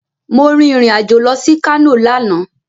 Mo rìn irìn-àjò lọ sí Kano lánàá